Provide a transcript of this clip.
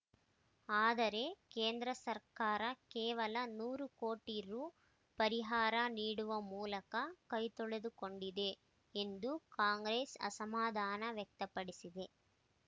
ಆದರೆ ಕೇಂದ್ರ ಸರ್ಕಾರ ಕೇವಲ ನೂರು ಕೋಟಿ ರು ಪರಿಹಾರ ನೀಡುವ ಮೂಲಕ ಕೈತೊಳೆದುಕೊಂಡಿದೆ ಎಂದು ಕಾಂಗ್ರೆಸ್‌ ಅಸಮಾಧಾನ ವ್ಯಕ್ತಪಡಿಸಿದೆ